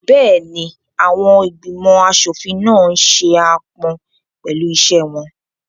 Bẹ́ẹ̀ni, àwọn ìgbìmọ̀ aṣòfin náà n ṣe aápọn pẹ̀lú iṣẹ́ wọn